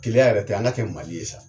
Keleya yɛrɛ tɛ an ka kɛ Mali ye sa.